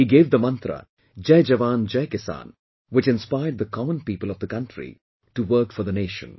He gave the mantra"Jai Jawan, Jai Kisan" which inspired the common people of the country to work for the nation